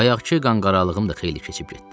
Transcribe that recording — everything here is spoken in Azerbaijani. Bayaqkı qanqaralığım da xeyli keçib getdi.